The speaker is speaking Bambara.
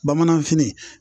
Bamananfini